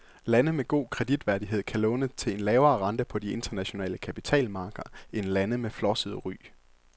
Lande med god kreditværdighed kan låne til en lavere rente på de internationale kapitalmarkeder end lande med flosset ry.